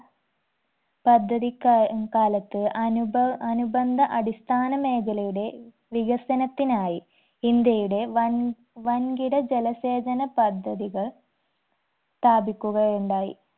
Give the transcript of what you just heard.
പദ്ധതി കാ കാലത്ത് അനുഭ അനുബന്ധ അടിസ്ഥാന മേഖലയുടെ വികസനത്തിനായി ഇന്ത്യയുടെ വൻ വൻകിട ജലസേചന പദ്ധതികൾ സ്ഥാപിക്കുകയുണ്ടായി